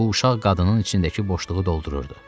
Bu uşaq qadının içindəki boşluğu doldururdu.